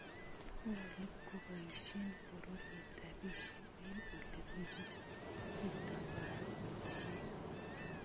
Nyalu koboisyen bororiet rabisiek eng ole kitabaanisien.